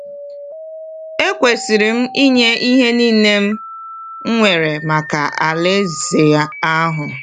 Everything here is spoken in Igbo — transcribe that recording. Ekwesịrị m ịnye ihe niile m nwere maka Alaeze ahụ.